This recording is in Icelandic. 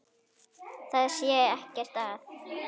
Það sé ekkert að.